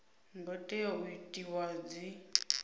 ngo tea u itiwa dzi